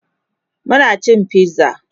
Muna cin pizza